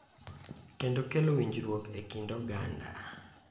Kendo kelo winjruok e kind oganda.